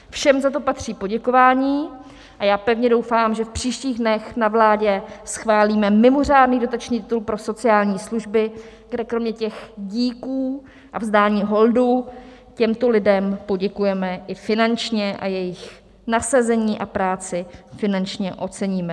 Všem za to patří poděkování a já pevně doufám, že v příštích dnech na vládě schválíme mimořádný dotační titul pro sociální služby, kde kromě těch díků a vzdání holdu těmto lidem poděkujeme i finančně a jejich nasazení a práci finančně oceníme.